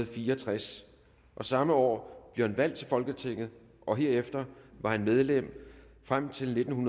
fire og tres samme år blev han valgt til folketinget og herefter var han medlem frem til nitten